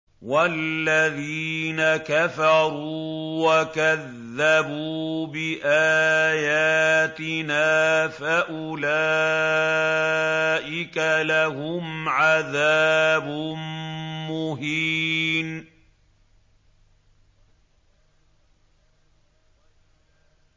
وَالَّذِينَ كَفَرُوا وَكَذَّبُوا بِآيَاتِنَا فَأُولَٰئِكَ لَهُمْ عَذَابٌ مُّهِينٌ